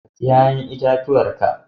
Ka ci 'ƴa'ƴan itatuwar ka!